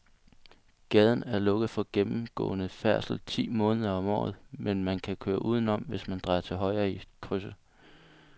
Gaden er lukket for gennemgående færdsel ti måneder om året, men man kan køre udenom, hvis man drejer til højre i krydset.